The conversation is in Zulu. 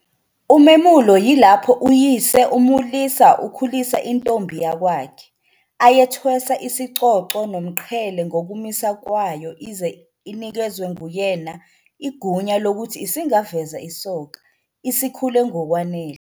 Umemulo yilapho uyise umulisa, ukhulisa intombi yakwakhe, ayethwesa isicoco nomqhele ngokumisa kwayo ize inikezwe nguyena igunya lokuthi isingaveza isoka, isikhule ngokwanele.